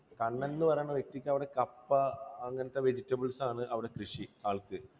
കണ്ണൻ എന്നു പറയുന്ന വ്യക്തിക്ക് അവിടെ കപ്പ, അങ്ങനത്തെ vegetables അവിടെ കൃഷി ആൾക്ക്.